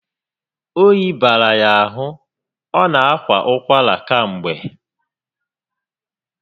Oyi bara ya ahụ, ọ na akwa ụkwara kamgbe